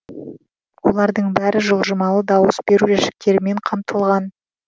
олардың бәрі жылжымалы дауыс беру жәшіктерімен қамтылған